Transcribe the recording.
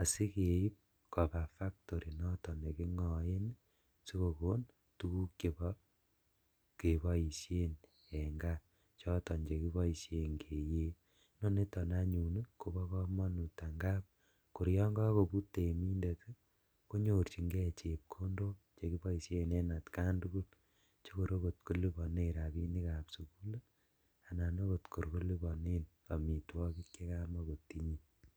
asikeib kobaa factory niton nekingoen ii sikokon tuguk chebo keboisien en kaa choton chekiboishen keyee, koniton anyun kobo komonut angap kor yon kokobut temindet konyorjingee chepkondok chekiboishen en atkan tugul chokor okot kolibonen rabinikab sukul anan okot kor kolibonen omitwogik chekamokotinye.